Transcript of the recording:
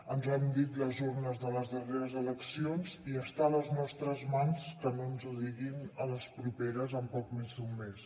ens ho han dit les urnes de les darreres eleccions i està a les nostres mans que no ens ho diguin a les properes en poc més d’un mes